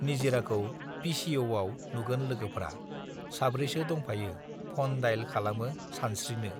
निजिराखौ P C O आव नुगोन लोगोफ्रा साब्रैसो दंफायो फन डाइल खालामो सनस्त्रिनो